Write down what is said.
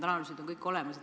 Need on kõik olemas.